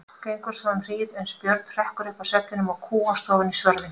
Gengur svo um hríð, uns Björn hrekkur upp af svefninum og kúgast ofan í svörðinn.